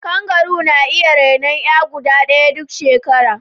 Kangaru na iya renon 'ya guda ɗaya duk shekara.